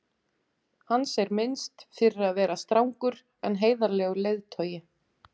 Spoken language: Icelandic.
hans er minnst fyrir að vera strangur en heiðarlegur leiðtogi